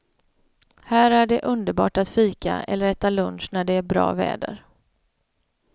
Här är det underbart att fika eller äta lunch när det är bra väder.